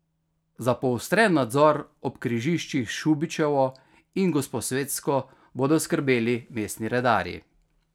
Za poostren nadzor ob križiščih s Šubičevo in Gosposvetsko bodo skrbeli mestni redarji.